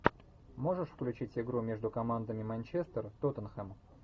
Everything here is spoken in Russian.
можешь включить игру между командами манчестер тоттенхэм